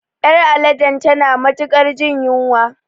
Ƴar aladen tana matuƙar jin yunwa